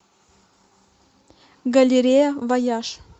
галерея вояж